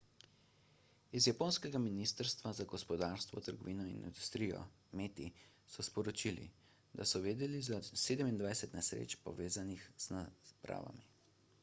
iz japonskega ministrstva za gospodarstvo trgovino in industrijo meti so sporočili da so vedeli za 27 nesreč povezanih z napravami